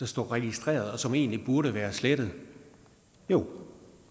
stå registreret og som egentlig burde være slettet jo